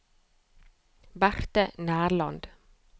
Berte Nærland